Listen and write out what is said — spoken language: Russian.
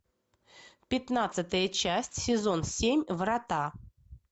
пятнадцатая часть сезон семь врата